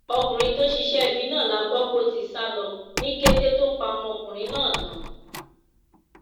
ọkùnrin tó ṣiṣẹ ibi náà la gbọ pó ti sá lọ ní kété tó pa ọmọkùnrin náà tán